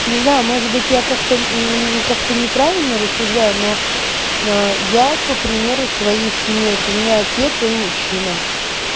не знаю может быть я как-то мм как-то неправильно рассуждаю но ээ я по примеру своей семьи вот у меня отец он мужчина